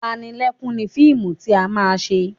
Panilẹ́kún ni fíìmù tí a máa ṣe